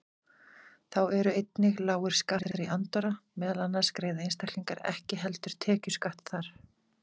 Þá eru einnig lágir skattar í Andorra, meðal annars greiða einstaklingar ekki heldur tekjuskatt þar.